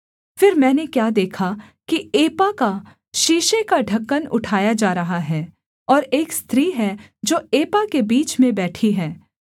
फिर मैंने क्या देखा कि एपा का सीसे का ढ़क्कन उठाया जा रहा है और एक स्त्री है जो एपा के बीच में बैठी है